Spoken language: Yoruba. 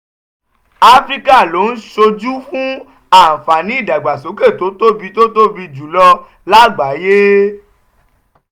áfíríkà ló ń ṣojú fún àǹfààní ìdàgbàsókè tó tóbi tó tóbi jù lọ lágbàáyé.